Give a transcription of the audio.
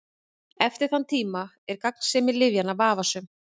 Eftir þann tíma er gagnsemi lyfjanna vafasöm.